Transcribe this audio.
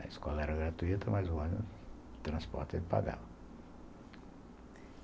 A escola era gratuita, mas o ônibus, o transporte, ele pagava.